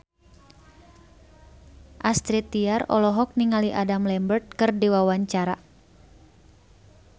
Astrid Tiar olohok ningali Adam Lambert keur diwawancara